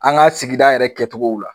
An ga sigida yɛrɛ kɛcogow la